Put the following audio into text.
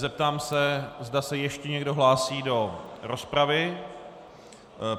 Zeptám se, zda se ještě někdo hlásí do rozpravy.